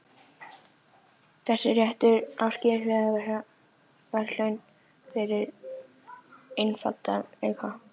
Þessi réttur á skilið að fá verðlaun fyrir einfaldleika.